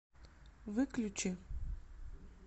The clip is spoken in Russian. выключи